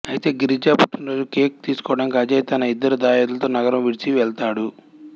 అయితే గిరిజ పుట్టినరోజుకు కేక్ తీసుకోవటానికి అజయ్ తన ఇద్దరు దాయాదులతో నగరం విడిచి వెళ్తాడు